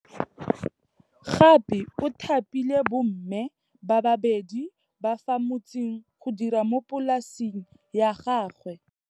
Gape o thapile bomme ba babedi ba fa motseng go dira mo polasing ya gagwe.